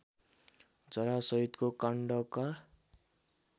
जरा सहितको काण्डका